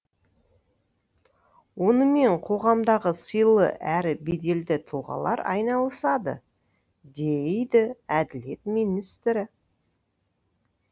онымен қоғамдағы сыйлы әрі беделді тұлғалар айналысады дейді әділет министрі